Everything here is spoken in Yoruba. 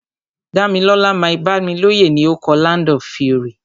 Dámilọ́lá Mike-Bámilóyè ni o kọ "Land of Fury".